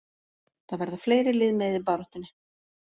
Það verða fleiri lið með í baráttunni.